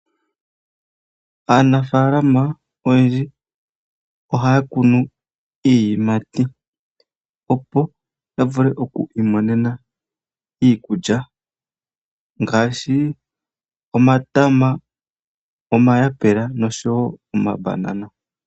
Aanafalama oyendji ohaya kunu iiyimati, opo ya vule okwiimonena iikulya ngaashi, omatama, omayapula, noshowo omambanana.